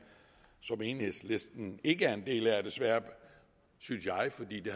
som enhedslisten ikke er en del af desværre synes jeg fordi det